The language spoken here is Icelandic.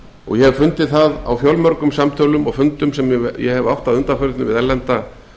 og ég hef fundið það á fjölmörgum samtölum og fundum sem ég hef átt við erlenda